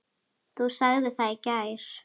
Þú sagðir það í gær.